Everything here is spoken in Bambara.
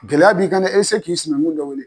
Gɛlɛya b'i kan dɛ e se k'i sinankun dɔ wele.